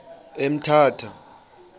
emthatha